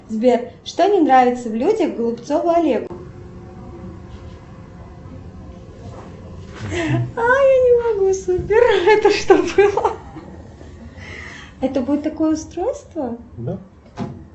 сбер что не нравится в людях голубцову олегу